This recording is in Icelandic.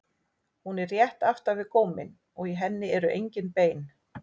Hún er rétt aftan við góminn og í henni eru engin bein.